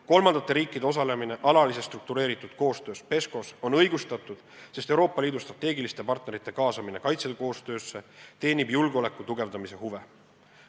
Kolmandate riikide osalemine alalises struktureeritud koostöös PESCO-s on õigustatud, sest Euroopa Liidu strateegiliste partnerite kaasamine kaitsekoostöösse teenib julgeoleku tugevdamise huve.